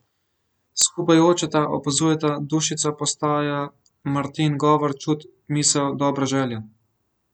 Skupaj jočeta, opazujeta, Dušica postaja Martin govor, čut, misel, dobra želja.